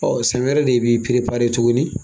Ɔ siɛn wɛrɛ de i bi tugunni.